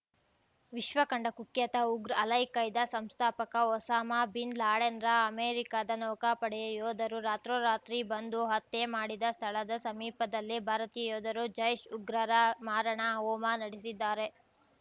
ವಿಶ್ವಕಂಡ ಕುಖ್ಯಾತ ಉಗ್ರ ಅಲೈಖೈದಾ ಸಂಸ್ಥಾಪಕ ಒಸಾಮಾ ಬಿನ್‌ ಲಾಡೆನ್‌ರ ಅಮೆರಿಕದ ನೌಕಾಪಡೆಯ ಯೋಧರು ರಾತ್ರೋರಾತ್ರಿ ಬಂದು ಹತ್ಯೆ ಮಾಡಿದ ಸ್ಥಳದ ಸಮೀಪದಲ್ಲೇ ಭಾರತೀಯ ಯೋಧರು ಜೈಷ್‌ ಉಗ್ರರ ಮಾರಣ ಹೋಮ ನಡೆಸಿದ್ದಾರೆ